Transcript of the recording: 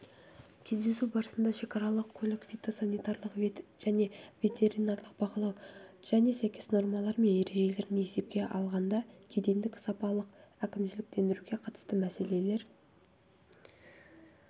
кездесу барысында шекаралық көлік фитосанитарлық және ветеринарлық бақылау және сәйкес нормалары мен ережелерін есепке алғанда кедендік және салықтық әкімшіліктендіруге қатысты мәселелер